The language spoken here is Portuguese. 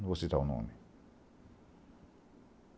Não vou citar o nome.